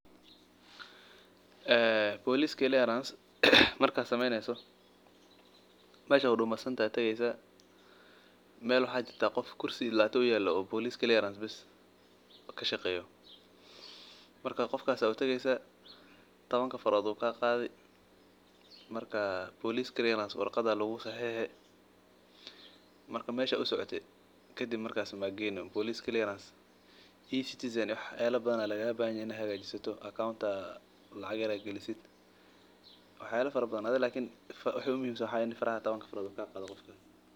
Ee boolis markaad sameyneysa waxaad tageysa meel qof kursi uyaalo waad utageysa warqad ayaa lagu saxiixi wax badan ayaa kagaaga bahahan yahay lakin muhimada waa in tabanka frood lagaa qaado.